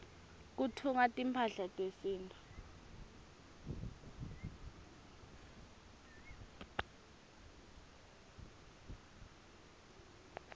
kutfungwa timphahla tesintfu